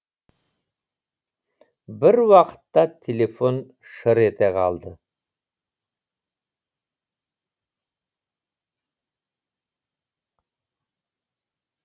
бір уақытта телефон шыр ете қалды